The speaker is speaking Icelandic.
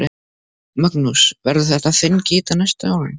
Magnús: Verður þetta þinn gítar næstu árin?